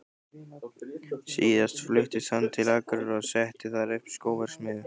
Síðar fluttist hann til Akureyrar og setti þar upp skóverksmiðju.